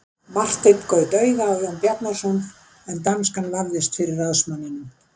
Marteinn gaut auga á Jón Bjarnason en danskan vafðist fyrir ráðsmanninum.